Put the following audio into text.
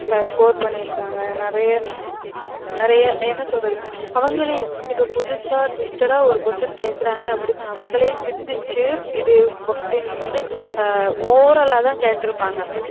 Score பண்ணிருக்காங்க நிறையா நிறையா என்னசொல்றது அவங்கலே இப்ப புதுசா twisted ஆ ஒரு question கேக்குறாங்கன்னு அப்டினு அவுங்களே சிந்திச்சு இது question வந்து oral லா தான் கேட்ருப்பாங்க